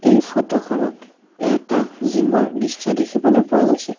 এই ফটো খনত এটা জিম ৰ দৃশ্য দেখিবলৈ পোৱা গৈছে।